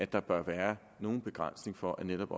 der bør være nogen begrænsning for at netop